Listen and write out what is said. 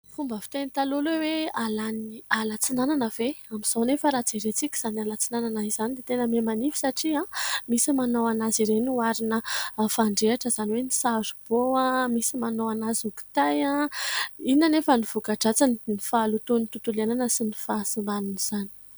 Fomba fiteny taloha ilay hoe: "Hahalany ny ala Antsinanana ve ?". Amin'izao anefa vao jerentsika izany ala Antsinanana izany dia tena miha manify satria misy manao anazy ireny ho arina fandrehitra, izany hoe ny "saribao", misy manao anazy ho kitay. Inona anefa ny vokadratsiny ? Ny fahalotoan'ny tontolo iainana sy ny fahasimban'izany.